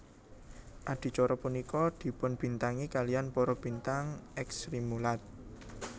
Adicara punika dipunbintangi kaliyan para bintang èks Srimulat